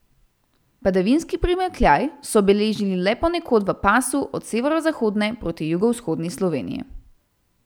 Padavinski primanjkljaj so beležili le ponekod v pasu od severozahodne proti jugovzhodni Sloveniji.